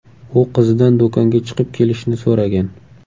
U qizidan do‘konga chiqib kelishni so‘ragan.